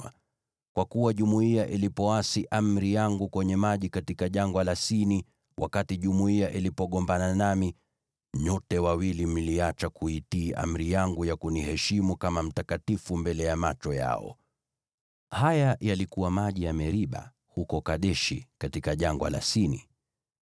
kwa kuwa jumuiya ilipoasi amri yangu kwenye maji katika Jangwa la Sini, wakati jumuiya ilipogombana nami, nyote wawili mliacha kuitii amri yangu ya kuniheshimu kama mtakatifu mbele ya macho yao.” (Haya yalikuwa maji ya Meriba huko Kadeshi, katika Jangwa la Sini.)